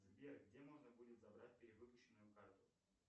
сбер где можно будет забрать перевыпущенную карту